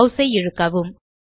mass ஐ இழுக்கவும்